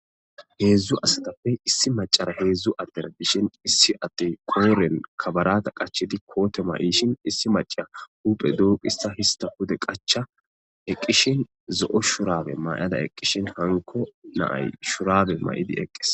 Heedzdzu asatappe issi macara heedzdzu addera bishin issi attey kooren kabarata qachidi koote mayishin issi maca huphe doopissa hista pude qacha eqqishin zo'o shurabe may'ada eqqishin hanko naay shurabe may'idi eqqes.